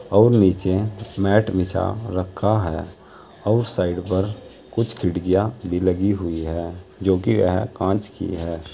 और नीचे मैट बिछा रखा है और साइड पर कुछ खिड़कियां भी लगी हुई है जोकि यह कांच की है।